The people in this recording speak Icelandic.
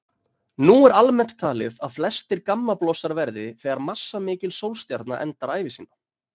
Nú er almennt talið að flestir gammablossar verði þegar massamikil sólstjarna endar ævi sína.